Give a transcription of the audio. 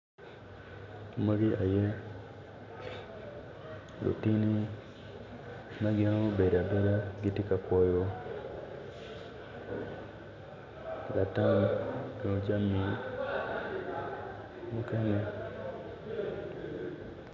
Winyo man tye ka tuk kun winyo man opito tyene aryo odwoko angec winyo man oyaro bome kun tye ka tuk dogwinyo man tye ma yelo.